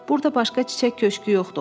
Burda başqa çiçək köşkü yoxdur, o dedi.